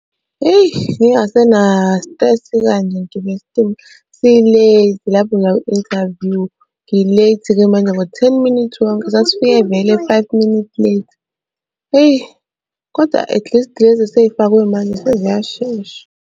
Hheyi, ngingasenasitresi kanje ngigibele isitimela, si-late lapho ngiya kwi-interview. Ngi-late-ke manje ngo-ten minute wonke. Sasifike vele five minute late, hheyi koda atleast lezi esey'fakwe manje seziyashesha.